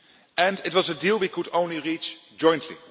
And it was a deal we could only reach jointly.